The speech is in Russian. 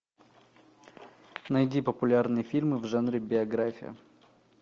найди популярные фильмы в жанре биография